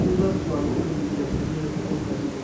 thutha tu wa kũmenyithanio atĩ nĩwe ũhootanĩte.